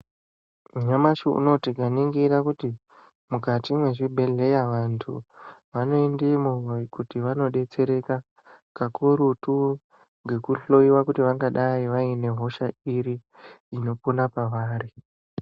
Nyamashi unowu tikaningira kuti mukati mwezvibhedhleya vantu vanoendemo kuti vanodetsereka kakurutu ngekuhloyiwa kuti vangadai vaine hosha iri inopona pavari.